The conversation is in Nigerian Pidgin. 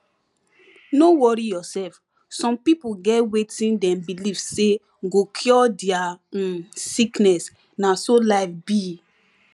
no worry yourself some pipo get wetin dem believe say go cure dia um sickness na so life be